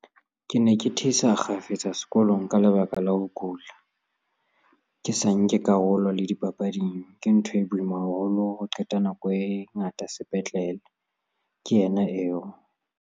"Ke ne ke thisa kgafetsa sekolong ka lebaka la ho kula, ke sa nke karolo le dipapading. Ke ntho e boima haholo ho qeta nako e ngata sepetlele," ke yena eo.